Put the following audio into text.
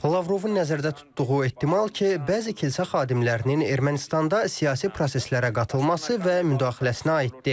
Lavrovun nəzərdə tutduğu ehtimal ki, bəzi kilsə xadimlərinin Ermənistanda siyasi proseslərə qatılması və müdaxiləsinə aiddir.